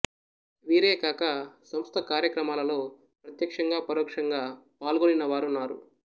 వీరే కాక సంస్ద కార్యక్రమాలలో ప్రతక్ష్యంగా పరోక్షంగా పాల్గొనిన వారున్నారు